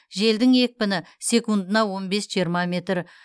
желдің екпіні секундына он бес жиырма метр